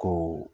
Ko